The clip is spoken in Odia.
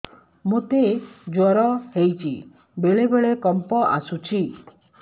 ମୋତେ ଜ୍ୱର ହେଇଚି ବେଳେ ବେଳେ କମ୍ପ ଆସୁଛି